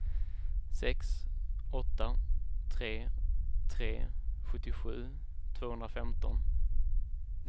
sex åtta tre tre sjuttiosju tvåhundrafemton